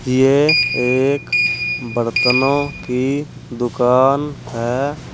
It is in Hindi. ये एक बर्तनों की दुकान है।